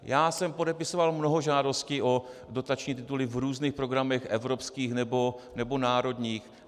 Já jsem podepisoval mnoho žádostí o dotační tituly v různých programech evropských nebo národních.